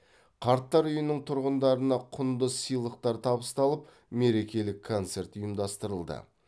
қарттар үйінің тұрғындарына құнды сыйлықтар табысталып мерекелік концерт ұйымдастырылды